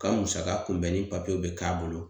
K'aN musaka kunbɛnni papiyew bɛ k'a bolo